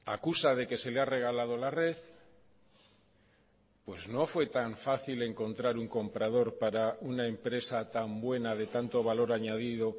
acusa de que se le ha regalado la red pues no fue tan fácil encontrar un comprador para una empresa tan buena de tanto valor añadido